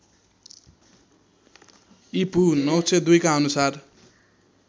ईपू ९०२ का अनुसार